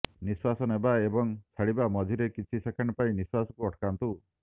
ନିଶ୍ୱାସ ନେବା ଏବଂ ଛାଡିବା ମଝିରେ କିଛି ସେକେଣ୍ଡ ପାଇଁ ନିଶ୍ୱାସକୁ ଅଟକାନ୍ତୁ